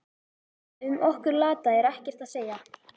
Um okkur lata er ekkert að segja.